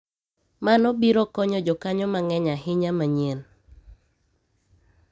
mano biro konyo jokanyo mang'eny ahinya manyien